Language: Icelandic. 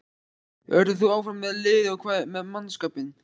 Verður þú áfram með liðið og hvað með mannskapinn?